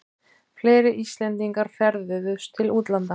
Fleiri Íslendingar ferðuðust til útlanda